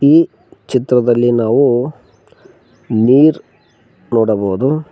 ಈ ಚಿತ್ರದಲ್ಲಿ ನಾವು ನೀರ್ ನೋಡಬಹುದು.